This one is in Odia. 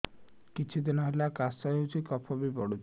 କିଛି ଦିନହେଲା କାଶ ହେଉଛି କଫ ବି ପଡୁଛି